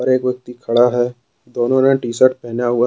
और एक व्यक्ति खड़ा है दोनों ने टी शर्ट पहना हुआ है।